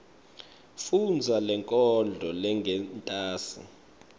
fundza lenkondlo lengentasi